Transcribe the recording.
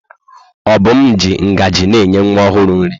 Obum ji ngaji na-enye nwa ọhụrụ nri.